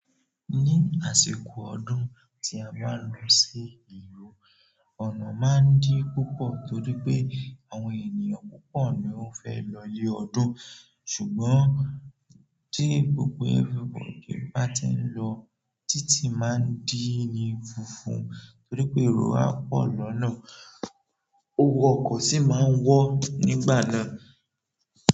Ní àsìkò ọdún tí a bá ń lọ sí ìlú, ọ̀nà máa ń dí púpọ̀ torí pé àwọn ènìyàn púpọ̀ ni ó fẹ́ lọ lé ọdún. Ṣùgbọ́n tí gbogbo ẹ́ni bá ti ń lọ, títì máa ń dí ni funfun torí pé èrò a pọ̀ lọ́nà. Owó ọkọ̀ sì máa ń wọ́ nígbà náà.